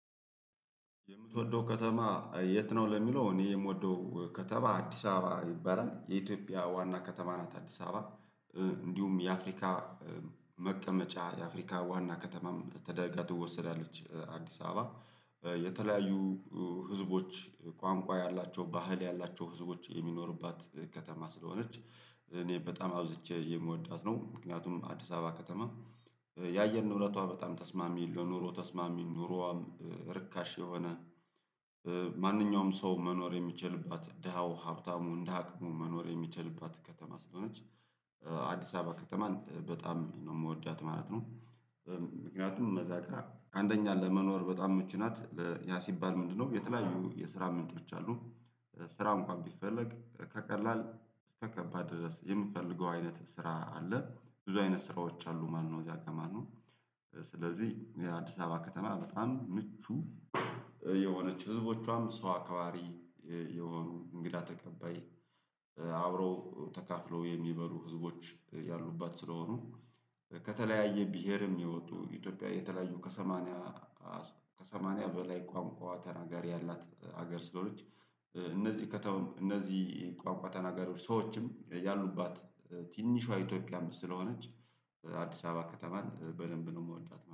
የምትወደው ከተማ የት? ነው ለሚለው እኔ የምወደው ከተማ አዲስ አበባ ይባላል የኢትዮጵያ ዋና ከተማ ናት አዲስ አበባ። እንዲሁም የአፍሪካ መቀመጫ የአፍሪካ ዋና ከተማም ተደርጋ ትወሰዳለች አዲስ አበባ የተለያዩ ህዝቦች ቋንቋ ያላቸው ባህል ያላቸው ህዝቦች የሚኖሩባት ከተማ ስለሆነች። እኔ በጣም አብዝቼ የምወዳት ነው ምክንያቱም አዲስ አበባ ከተማ። ያየር ንብረቶ በጣም ተስማሚ ለኑሮ ተስማሚ ኑሮዋም ርካሽ የሆነ። ማንኛውም ሰው መኖር የሚችልባት ደሃው ሀብታሙ እንደ አቅሙ መኖር የሚችልባት ከተማ ስለሆነች። አዲስ አበባ ከተማን በጣም ነው የምወዳት ማለት ነው። ምክንያቱም እዛጋ አንደኛ ለመኖር በጣም ምቹ ናት ያ ሲባል ምንድነው? የተለያዩ የስራ ምንጮች አሉ። ስራ እንኳን ቢፈለግ ከቀላል እስከ ከባድ ድረስ የምትፈልገው አይነት ስራ አለ ብዙ አይነት ስራዎች አሉ ማለትነው። እዚያ ከተማ። ስለዚህ የአዲስ አበባ ከተማ በጣም ምቹ የሆነች ህዝቦቿም ሰው አካዋሪ የሆኑ እንግዳ ተቀባይ አብረው ተካፍለው የሚበሉ ህዝቦች ያሉባት ስለሆኑ። ከተለያየ ብሄርም የወጡ ኢትዮጵያ የተለያዩ ከሰማንያ ከሰማንያ በላይ ቋንቋ ተናጋሪ ያላት ሀገር ስለሆነች። እነዚህ ከተው እነዚህ ቋንቋ ተናጋሪዎች ሰዎችም ያሉባት ትንሿ ኢትዮጵያ ስለሆነች። አዲስ አበባ ከተማን በደንብ ነው የምወዳት